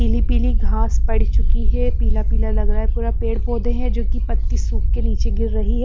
पीली पीली घास पड़ चुकी है पीला पीला लग रहा है पूरा पेड़ पौधे हैं जो कि पत्ती सूख के नीचे गिर रही हैं.